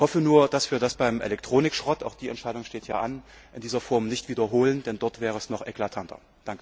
Ich hoffe nur, dass wir das beim Elektronikschrott auch die Entscheidung steht hier an in dieser Form nicht wiederholen, denn dort wäre es noch eklatanter.